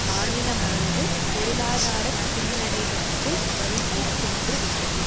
மாநிலமானது பொருளாதார பின்னடைவிற்குள் வழுக்கிச் சென்று விட்டது